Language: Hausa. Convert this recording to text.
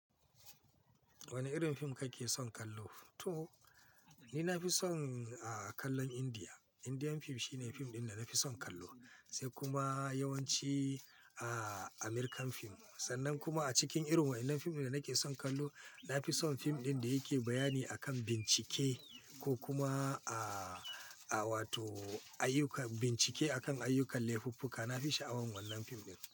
Wane irin fim kake son kallo? To, ni na fi son kallon Indiya. Indian fim shine fim ɗin da na fi son kallo, sai kuma yawanci American fim. Sannan kuma a cikin irin wannan fim ɗin da nake son kallo, na fi son fim ɗin da yake bayani akan bincike ko kuma a, a wato ayyuka, bincike akan ayyukan laifuffuka. Na fi sha'awar wannan fim ɗin.